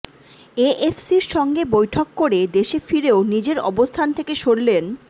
এএফসির সঙ্গে বৈঠক করে দেশে ফিরেও নিজের অবস্থান থেকে সরলেন